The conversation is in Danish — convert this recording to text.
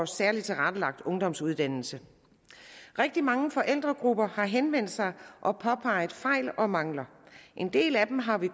særlig tilrettelagt ungdomsuddannelse rigtig mange forældregrupper har henvendt sig og påpeget fejl og mangler en del af dem har vi